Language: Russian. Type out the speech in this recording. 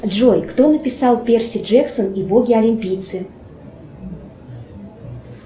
джой кто написал перси джексон и боги олимпийцы